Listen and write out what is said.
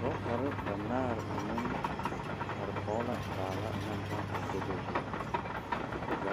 Dɔtare banaare are koŋ la baala kaŋa o gondo zuŋ